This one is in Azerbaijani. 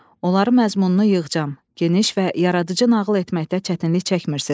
Onların məzmununu yığcam, geniş və yaradıcı nağıl etməkdə çətinlik çəkmirsiniz.